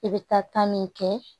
I bɛ taa ta min kɛ